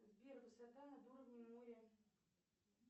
сбер высота над уровнем моря